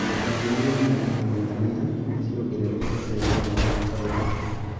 Mbeca ciumanĩte na Tanzanite nĩmongererete thutha wa gwaka rũthingo